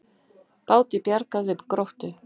Báti bjargað við Gróttu